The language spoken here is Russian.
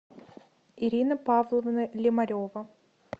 ирина павловна лемарева